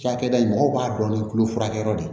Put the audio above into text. Cakɛda in mɔgɔw b'a dɔn ni tulo furakɛyɔrɔ de ye